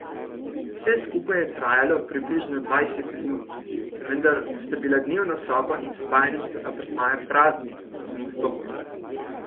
Vse skupaj je trajalo približno dvajset minut, vendar sta bili dnevna soba in spalnica apartmaja prazni, ko sem vstopil.